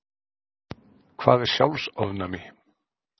Hvað er sjálfsofnæmi?